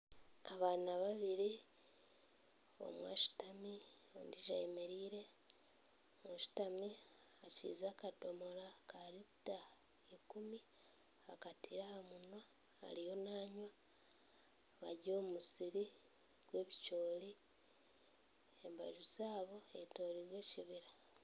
Abaana babiri omwe ashutami ondiijo ayemereire oshutami akiriize akadomora ka lita 10 akateire ahamunwa ariyo nangwa bari omu musiri gw'ebicoori embaju zaabo hetoreire ekibira